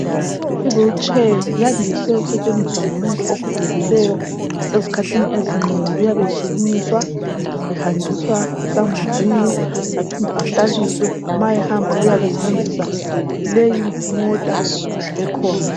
I wheelchair yandise ukusetshenziswa ngumuntu ogogekileyo ezikhathini ezinengi uyabe esukunyiswa ehanjiswa esambuzini aphinde ahlaliswe ma ehamba uyabe esebenzisa leyimota ekhona.